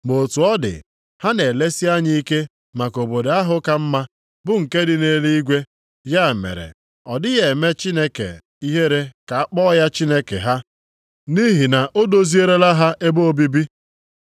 Ma otu ọ dị, ha na-elesi anya ike maka obodo ahụ ka mma, bụ nke dị nʼeluigwe. Ya mere, ọ dịghị eme Chineke ihere ka a kpọ ya Chineke ha, nʼihi na o dozielara ha ebe obibi.